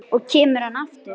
Og kemur hann aftur?